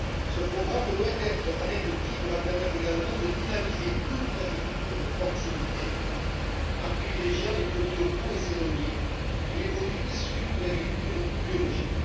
Ce programme, loin d'être anecdotique, permettra également de dynamiser toute une agriculture de proximité en privilégiant les produits locaux et saisonniers ainsi que les produits issus de l'agriculture biologique.